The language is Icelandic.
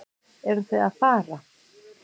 Eruð þið að fara?